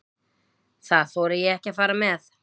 Það þori ég ekki að fara með.